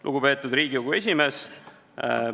Lugupeetud Riigikogu esimees!